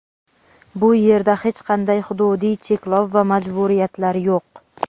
Bu yerda hech qanday hududiy cheklov va majburiyatlar yo‘q.